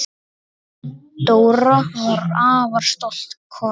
Dóra var afar stolt kona.